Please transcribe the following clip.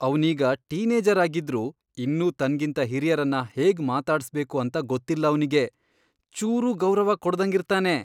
ಅವ್ನೀಗ teenager ಆಗಿದ್ರೂ ಇನ್ನೂ ತನ್ಗಿಂತ ಹಿರಿಯರನ್ನ ಹೇಗ್ ಮಾತಾಡ್ಸ್ಬೇಕು ಅಂತ ಗೊತ್ತಿಲ್ಲ ಅವ್ನಿಗೆ. ಚೂರೂ ಗೌರವ ಕೊಡ್ದಂಗಿರ್ತಾನೆ.